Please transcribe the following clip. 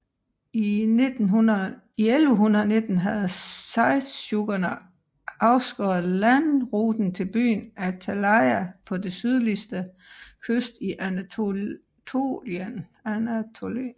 I 1119 havde seldsjukkerne afskåret landruten til byen Attaleia på den sydlige kyst i Anatolien